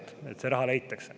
Nii et see raha leitakse.